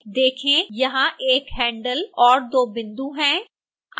देखें वहाँ 1 handle और 2 बिंदु हैं